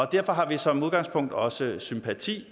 derfor har vi som udgangspunkt også sympati